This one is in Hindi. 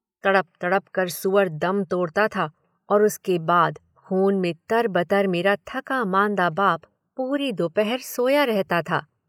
तड़प तड़प कर सूअर दम तोड़ता था और उसके बाद खून में तरबतर मेरा थका मांदा बाप पूरी दोपहर सोया रहता था।